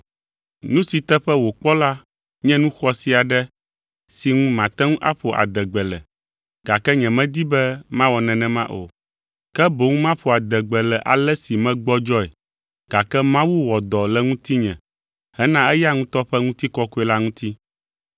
Nu si teƒe wòkpɔ la nye nu xɔasi aɖe si ŋu mate ŋu aƒo adegbe le, gake nyemedi be mawɔ nenema o. Ke boŋ maƒo adegbe le ale si megbɔdzɔe, gake Mawu wɔ dɔ le ŋutinye hena eya ŋutɔ ƒe ŋutikɔkɔe la ŋuti.